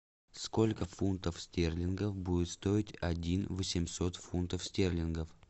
сколько фунтов стерлингов будет стоить один восемьсот фунтов стерлингов